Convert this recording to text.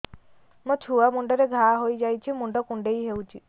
ମୋ ଛୁଆ ମୁଣ୍ଡରେ ଘାଆ ହୋଇଯାଇଛି ମୁଣ୍ଡ କୁଣ୍ଡେଇ ହେଉଛି